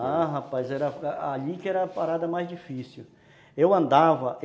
Ah, rapaz, era, ali que era a parada mais difícil.